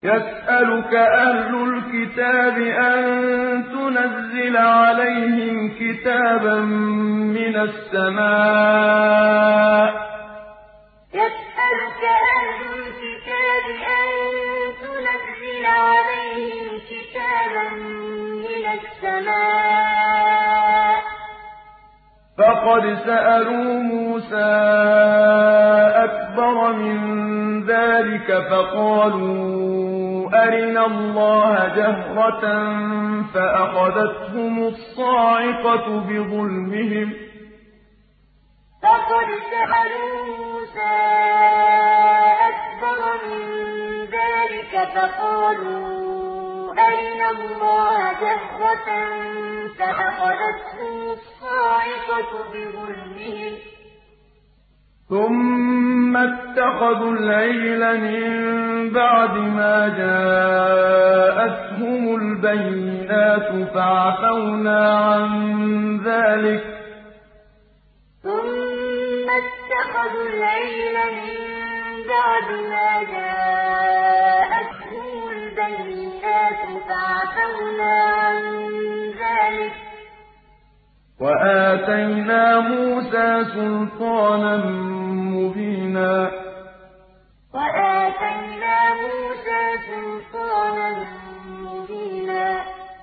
يَسْأَلُكَ أَهْلُ الْكِتَابِ أَن تُنَزِّلَ عَلَيْهِمْ كِتَابًا مِّنَ السَّمَاءِ ۚ فَقَدْ سَأَلُوا مُوسَىٰ أَكْبَرَ مِن ذَٰلِكَ فَقَالُوا أَرِنَا اللَّهَ جَهْرَةً فَأَخَذَتْهُمُ الصَّاعِقَةُ بِظُلْمِهِمْ ۚ ثُمَّ اتَّخَذُوا الْعِجْلَ مِن بَعْدِ مَا جَاءَتْهُمُ الْبَيِّنَاتُ فَعَفَوْنَا عَن ذَٰلِكَ ۚ وَآتَيْنَا مُوسَىٰ سُلْطَانًا مُّبِينًا يَسْأَلُكَ أَهْلُ الْكِتَابِ أَن تُنَزِّلَ عَلَيْهِمْ كِتَابًا مِّنَ السَّمَاءِ ۚ فَقَدْ سَأَلُوا مُوسَىٰ أَكْبَرَ مِن ذَٰلِكَ فَقَالُوا أَرِنَا اللَّهَ جَهْرَةً فَأَخَذَتْهُمُ الصَّاعِقَةُ بِظُلْمِهِمْ ۚ ثُمَّ اتَّخَذُوا الْعِجْلَ مِن بَعْدِ مَا جَاءَتْهُمُ الْبَيِّنَاتُ فَعَفَوْنَا عَن ذَٰلِكَ ۚ وَآتَيْنَا مُوسَىٰ سُلْطَانًا مُّبِينًا